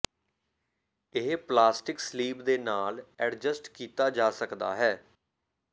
ਇਹ ਪਲਾਸਟਿਕ ਸਲੀਬ ਦੇ ਨਾਲ ਐਡਜਸਟ ਕੀਤਾ ਜਾ ਸਕਦਾ ਹੈ